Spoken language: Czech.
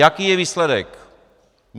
Jaký je výsledek?